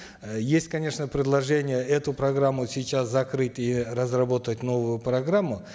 э есть конечно предложения эту программу сейчас закрыть и разработать новую программу